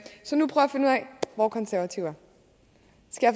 hvor konservative